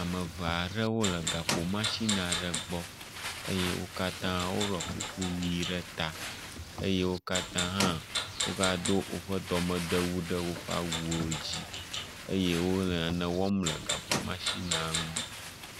Ame ve aɖewo le gakpo matsin aɖe gbɔ eye wo katã woɖɔ kuku ʋɛ̃ ɖe ta eye wo katã hã wogado woƒe dɔmedewu ɖe woƒe awuwo dzi eye wole nane wɔm le gakpo matsinia ŋu.